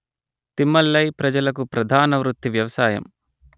తిమ్మలై ప్రజలకు ప్రధానవృత్తి వ్యవసాయం